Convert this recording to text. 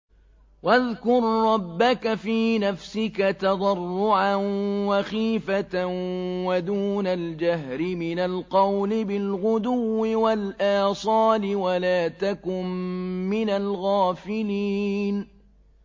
وَاذْكُر رَّبَّكَ فِي نَفْسِكَ تَضَرُّعًا وَخِيفَةً وَدُونَ الْجَهْرِ مِنَ الْقَوْلِ بِالْغُدُوِّ وَالْآصَالِ وَلَا تَكُن مِّنَ الْغَافِلِينَ